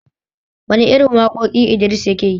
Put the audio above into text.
Wane irin waƙoƙi Idris yake yi?